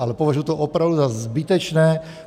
Ale považuji to opravdu za zbytečné.